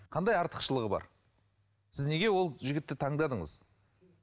қандай артықшылығы бар сіз неге ол жігітті таңдадыңыз